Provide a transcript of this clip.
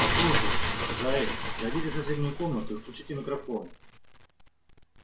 послушайте джаэль пройдите в соседнюю комнату и включите микрофон